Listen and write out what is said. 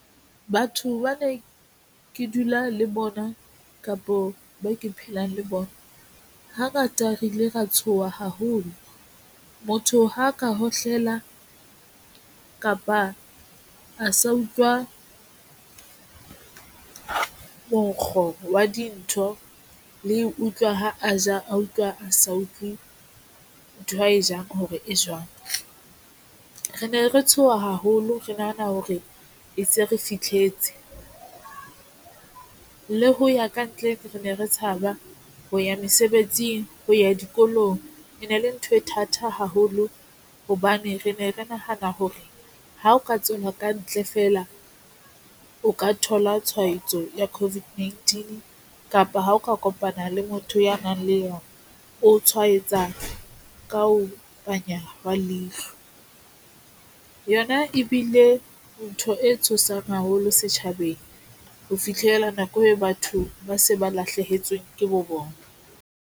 Batho ba ne ke dula le bona kapo ba ke phelang le bona. Hangata re ile ra tshoha haholo. Motho ha ka hohlela kapa a sa utlwa monkgo wa dintho le utlwa ha a ja, a utlwa, a sa utlwe ntho a e jang hore e jwang. Re ne re tshoha haholo, re nahana hore e se re fihletse le ho ya ka ntle, re ne re tshaba ho ya mesebetsing ho ya dikolong. E ne le ntho e thata haholo hobane re ne re nahana hore ha o ka tswela kantle feela, o ka thola tshwaetso ya COVID-19 kapa ha o ka kopana le motho ya nang le yona, o tshwaetsa ka ho panya hwa leihlo yona ebile ntho e tshosang haholo setjhabeng ho fitlhela nako eo batho ba se ba lahlehetsweng ke bo bona.